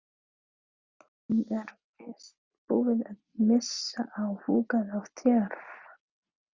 Hún er víst búin að missa áhugann á þér.